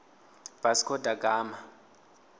vasco da gama